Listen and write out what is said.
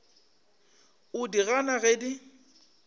o di gana ge di